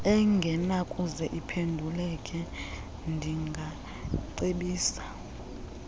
engenakuze iphenduleke ndingacebisa